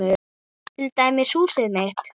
Til dæmis húsið mitt.